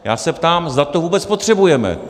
Já se ptám, zda to vůbec potřebujeme.